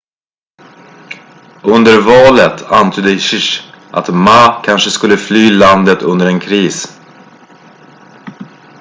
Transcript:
under valet antydde hsieh att ma kanske skulle fly landet under en kris